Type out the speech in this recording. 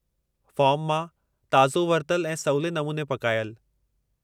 Form मां ताज़ो वरितलु ऐं सवले नमूने पकायलु।